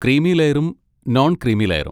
Creamy ലെയറും non creamy ലെയറും.